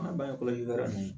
An ka ba ninnu